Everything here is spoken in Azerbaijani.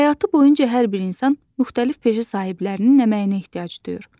Həyatı boyunca hər bir insan müxtəlif peşə sahiblərinin əməyinə ehtiyac duyur.